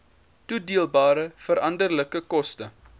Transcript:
toedeelbare veranderlike koste